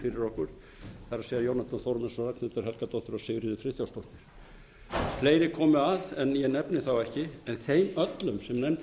fyrir okkur það er jónatan þórmundssyni ragnhildi helgadóttur og sigríði kristjánsdóttur fleiri komu að en ég nefni þá ekki en öllum sem nefnd eru